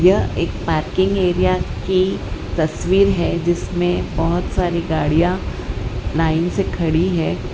यह एक parking area की तस्वीर है जिसमें बहुत सारी गाड़ियां लाइन से खड़ी है।